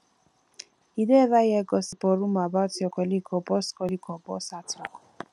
you don ever hear gossip or rumor about your colleague or boss colleague or boss at work